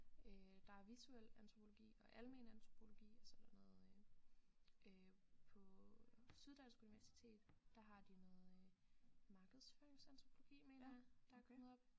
Øh der er visuel antropologi og almen antropologi og så er der noget øh på Syddansk Universitet der har de noget markedsføringsantropologi mener jeg der er kommet op